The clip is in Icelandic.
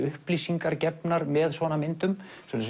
upplýsingar með myndum